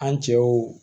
An cɛw